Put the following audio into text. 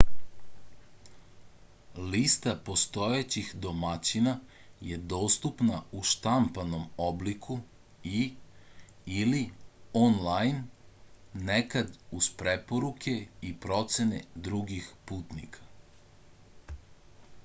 листа постојећих домаћина је доступна у штампаном облику и/или онлајн некад уз препоруке и процене других путника